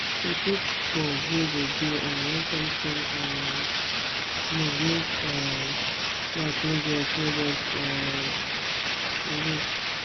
he put bulb wey go dey on when something um move make um light no just no just um dey waste